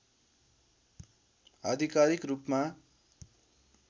आधिकारिक रूपमा